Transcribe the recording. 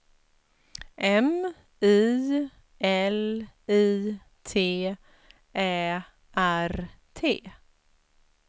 M I L I T Ä R T